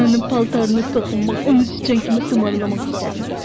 Mən onun paltarını toxunmaq, onu siçan kimi tumarlamaq istədim.